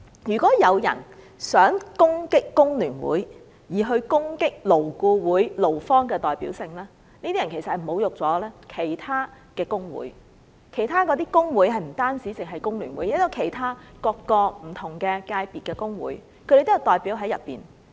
如果有人想攻擊工聯會從而攻擊勞顧會勞方的代表性，他們其實是侮辱了其他工會。這些工會不止是工聯會，還有其他不同界別的工會，當中都有他們的代表。